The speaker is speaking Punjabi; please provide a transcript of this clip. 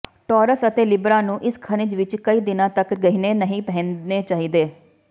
ਟੌਰਸ ਅਤੇ ਲਿਬਰਾ ਨੂੰ ਇਸ ਖਣਿਜ ਵਿਚ ਕਈ ਦਿਨਾਂ ਤਕ ਗਹਿਣੇ ਨਹੀਂ ਪਹਿਨਣੇ ਚਾਹੀਦੇ